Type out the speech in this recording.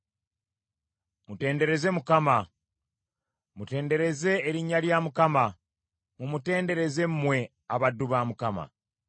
Mutendereze Mukama . Mutendereze erinnya lya Mukama . Mumutendereze mmwe abaddu ba Mukama ;